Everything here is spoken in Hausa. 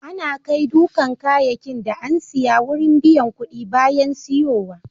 Ana kai dukan kayakin da an siya wurin biyan kuɗi bayan siyowa.